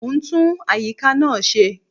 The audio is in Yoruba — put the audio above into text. Mo ń tún àyíká náà ṣe